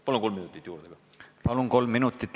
Palun kolm minutit juurde!